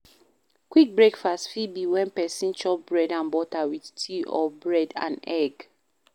Quick breakfast fit be when person chop bread and butter with tea or Bread and egg